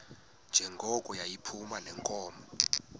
njengoko yayiphuma neenkomo